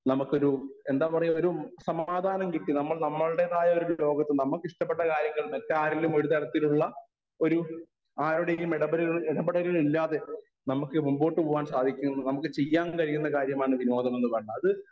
speaker 1 നമുക്കൊരു എന്താ പറയുക ഒരു സമാധാനം കിട്ടി നമ്മൾ നമ്മളുടേതായ ഒരു ലോകത്തു നമുക്ക് ഇഷ്ടപെട്ട കാര്യങ്ങൾ മറ്റാരെങ്കിലും ഒരുതരത്തിലുള്ള ഒരു ആരുടെയും ഇടപെട ഇടപെടലുകൾ ഇല്ലാതെ നമുക്ക് മുൻപോട്ട് പോകുവാൻ സാധിക്കും നമുക്ക് ചെയ്യാൻ കഴിയുന്ന കാര്യമാണ് വിനോദം എന്നു പറയുന്നത് അത്